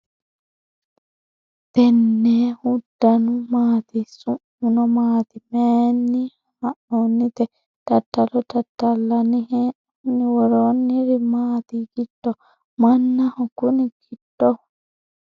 tennehu danu maati? su'muno maati? maayinni haa'noonnite ? dadalo dadallanni hee'noonni ? worronniri maati giddo ? mannaho kuni giddohu ?